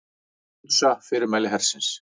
Hunsa fyrirmæli hersins